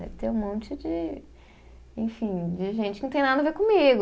Deve ter um monte de, enfim, de gente que não tem nada a ver comigo.